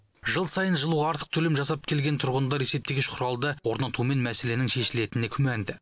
жыл сайын жылуға артық төлем жасап келген тұрғындар есептегіш құралды орнатумен мәселенің шешілетініне күмәнді